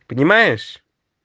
понимаешь